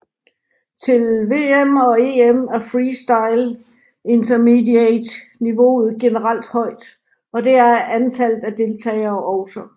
Til VM og EM er freestyle Intermediate niveauet generelt højt og det er antallet af deltager også